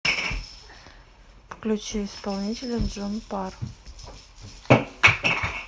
включи исполнителя джон пар